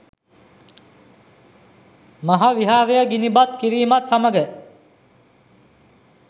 මහා විහාරය ගිනිබත් කිරීමත් සමඟ